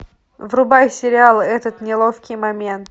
врубай сериал этот неловкий момент